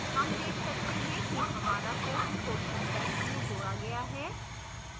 हम देख सकते हैं कि हमारा प्रश्न question bank में जोड़ा गया है